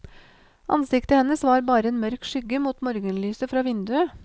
Ansiktet hennes var bare en mørk skygge mot morgenlyset fra vinduet.